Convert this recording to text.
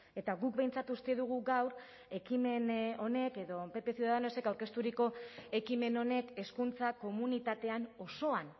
eta guk behintzat uste dugu gaur ekimen honek edo pp ciudadanosek aurkezturiko ekimen honek hezkuntza komunitatean osoan